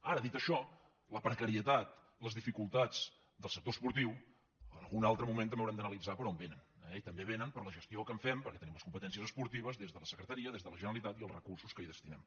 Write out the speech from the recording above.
ara dit això la precarietat les dificultats del sec·tor esportiu en algun altre moment també haurem d’analitzar per on vénen eh i també vénen per la gestió que en fem perquè tenim les competències esportives des de la secretaria des de la generalitat i els recursos que hi destinem